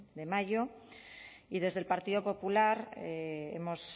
de mayo y desde el partido popular hemos